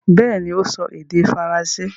Bẹ́ẹ̀ni, ó ń sọ èdè faransé.